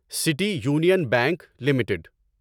city Union Bank limited